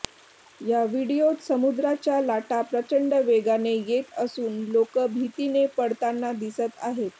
या व्हिडिओत समुद्राच्या लाटा प्रचंड वेगाने येत असून लोक भीतीने पळताना दिसत आहेत